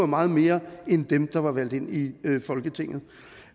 meget mere end dem der var valgt ind i folketinget